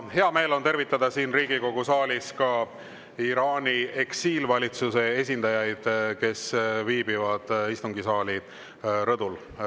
Hea meel on tervitada siin Riigikogu saalis ka Iraani eksiilvalitsuse esindajaid, kes viibivad istungisaali rõdul.